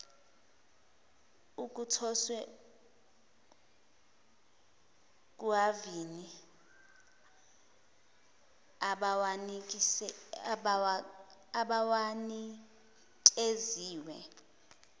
okuthoswe kuhhavini abawanikeziwe